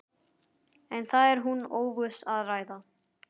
En það er hún ófús að ræða.